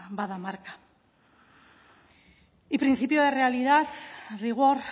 ba bada marka y principio de realidad rigor